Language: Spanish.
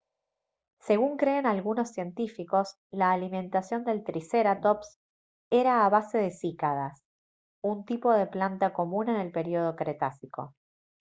según creen algunos científicos la alimentación del tricerátops era a base de cícadas un tipo de planta común en el período cretácico